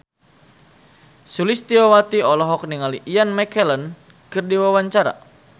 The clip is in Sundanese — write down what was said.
Sulistyowati olohok ningali Ian McKellen keur diwawancara